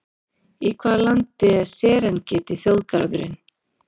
Í hvaða landi er Serengeti þjóðgarðurinn?